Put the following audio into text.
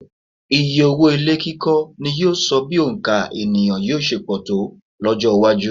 Iyé owó ilé kíkọ́ ni yóò bi òǹkà ènìyàn yóò ṣe pọ̀ tó lọ́jọ́-iwájú.